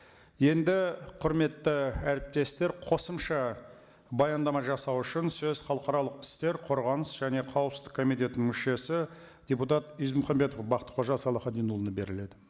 енді құрметті әріптестер қосымша баяндама жасау үшін сөз халықаралық істер қорғаныс және қауіпсіздік комитетінің мүшесі депутат ізмұхамбетов бақтықожа салахитдинұлына беріледі